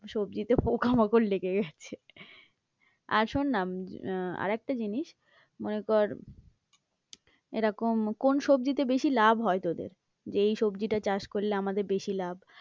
সবজিতে পোকামাকড় লেগে গেছে আর শোন না আহ আর একটা জিনিস মনে কর এরকম কোন সবজিতে বেশি লাভ হয় তোদের? যে এই সবজিটা চাষ করলে আমাদের বেশি লাভ।